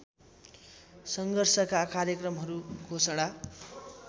सङ्घर्षका कार्यक्रमहरू घोषणा